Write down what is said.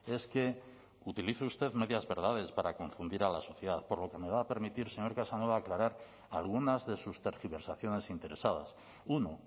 es que utilice usted medias verdades para confundir a la sociedad por lo que me va a permitir señor casanova aclarar algunas de sus tergiversaciones interesadas uno